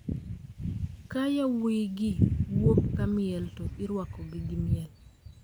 Ka yawuoyigi wuok kamiel to irwakogi gi miel.